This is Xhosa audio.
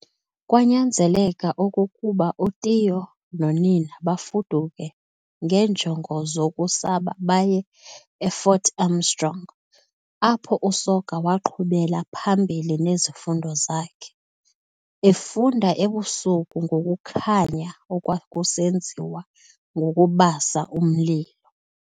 Kwanyanzeleka okokuba uTiyo nonina bafuduke ngeenjongo zokusaba baye e-Fort Armstrong, apho uSoga waqhubela phambili nezifundo zakhe, efunda ebusuku ngokukhanya okwakusenziwa ngokubasa umlilo.